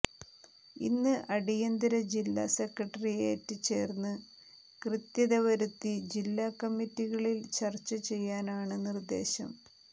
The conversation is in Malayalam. ഇന്ന് അടിയന്തര ജില്ലാസെക്രട്ടേറിയറ്റ് ചേർന്ന് കൃത്യത വരുത്തി ജില്ലാകമ്മിറ്റികളിൽ ചർച്ച ചെയ്യാനാണ് നിർദ്ദേശം